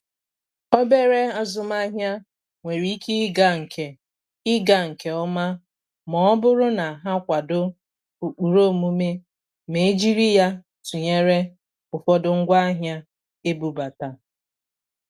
Obere azụmaahịa nwere ike ịga nke ịga nke ọma ma ọ bụrụ na ha kwadọ ụkpụrụ omume ma e jiri ya tụnyere ụfọdụ ngwaahịa ebubata.